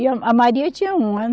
E a, a Maria tinha um ano.